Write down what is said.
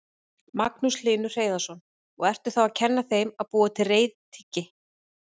Magnús Hlynur Hreiðarsson: Og ertu þá að kenna þeim að búa til reiðtygi?